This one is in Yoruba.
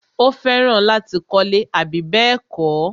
Ó fẹ́ràn láti kọ́lẹ́. àbí bẹ́ẹ̀kọ́?